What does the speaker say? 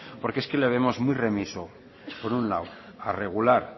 porque es que le vemos muy remiso por un lado a regular